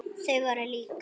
Þau voru lík.